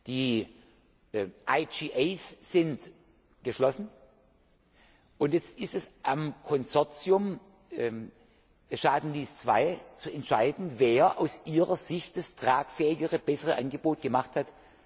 Italien. Die IGAs sind geschlossen, und jetzt ist es am Konsortium Shah Deniz II zu entscheiden, wer aus ihrer Sicht das tragfähigere, bessere Angebot gemacht